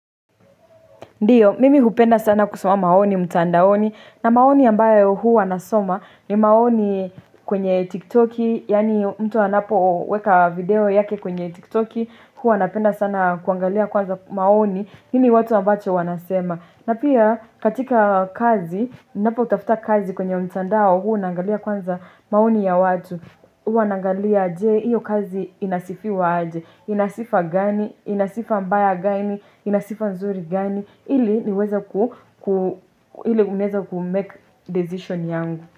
Ndio, mimi hupenda sana kusoma maoni, mtandaoni, na maoni ambayo huwa nasoma ni maoni kwenye tiktoki, yaani mtu anapoweka video yake kwenye tiktoki, huwa napenda sana kuangalia kwanza maoni, nini watu ambacho wanasema, na pia katika kazi, ninapo tafuta kazi kwenye mtandao huu naangalia kwanza maoni ya watu, huwa naangalia je, hiyo kazi inasifiwa aje, ina sifa gani, ina sifa mbaya gani, ina sifa nzuri gani, iliniweze ile unaweza kumake decision yangu.